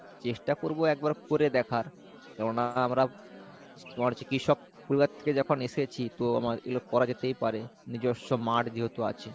চেষ্টা করবো একবার করে দেখার কেননা আমরা তোমার হচ্ছে কৃষক পরিবার থেকে যখন এসেছি তো আমার এগুলো করা যেতেই পারে নিজস্ব মাঠ যেহেতু আছে।